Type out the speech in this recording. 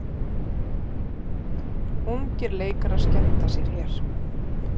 Ungir leikarar skemmta sér hér